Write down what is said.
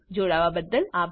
જોડાવા બદલ અભાર